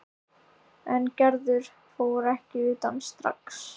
En Gerður fór ekki utan strax.